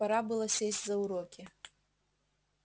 пора было сесть за уроки